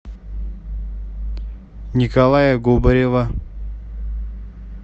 николая губарева